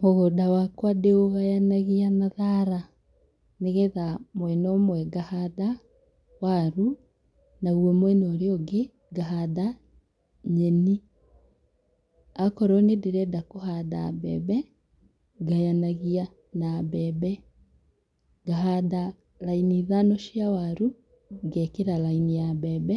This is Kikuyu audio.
Mũgũnda wakwa ndĩũgayanagia na thara, nĩgetha mwena ũmwe ngahanda waru, naguo mwena ũrĩa ũngĩ ngahanda nyeni. Akorwo nĩ ndĩrenda kũhanda mbembe, ngayanagia na mbembe. Ngahanda raini ithano cia waru, ngekĩra raini ya mbembe,